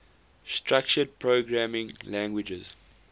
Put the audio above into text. structured programming languages